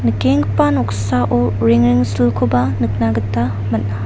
nikenggipa noksao rengrengsilkoba nikna gita man·a.